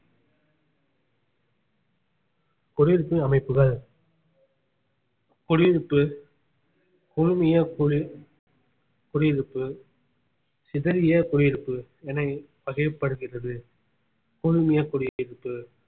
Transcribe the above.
குடியிருப்பு அமைப்புகள் குடியிருப்பு குழுமிய குளி~ குடியிருப்பு சிதறிய குடியிருப்பு என வகைப்படுகிறது குழுமிய குடியிருப்பு